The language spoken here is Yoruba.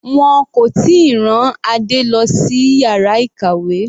Wọn kò tíì rán Adé lọ sí yàrá ìkàwé.